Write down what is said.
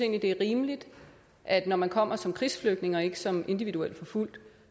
det er rimeligt at når man kommer som krigsflygtning og ikke som individuelt forfulgt